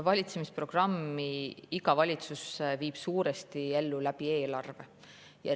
Valitsemisprogrammi viib iga valitsus suuresti ellu eelarve kaudu.